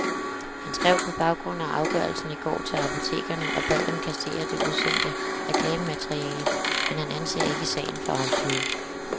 Han skrev på baggrund af afgørelsen i går til apotekerne og bad dem kassere det udsendte reklamemateriale, men han anser ikke sagen for afsluttet.